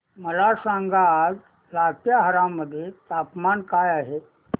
मला सांगा आज लातेहार मध्ये तापमान काय आहे